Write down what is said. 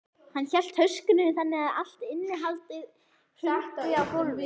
Hann hélt töskunni þannig að allt innihaldið hrundi á gólfið.